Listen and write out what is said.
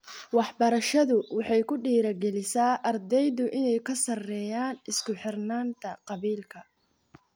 Waxbarashadu waxay ku dhiirigelisaa ardaydu inay ka sarreeyaan isku-xidhnaanta qabiilka.